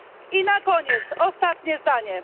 I na koniec, ostatnie zdanie.